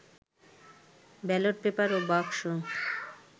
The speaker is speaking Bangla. ব্যালট পেপার ও বাক্স